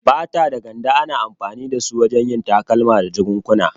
Fata da Ganda ana amfani da su wajen yin takalma da jakukkuna.